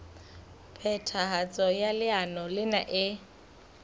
phethahatso ya leano lena e